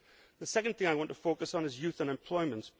The second thing I want to focus on is youth unemployment.